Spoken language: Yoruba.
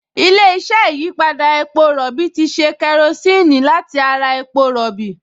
Ilé-iṣẹ́ ìyípadà epo rọ̀bì ti ṣe kerosíìnì láti ara epo rọ̀bì